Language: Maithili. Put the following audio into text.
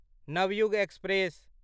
नवयुग एक्सप्रेस